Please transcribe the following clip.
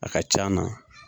A ka ca na.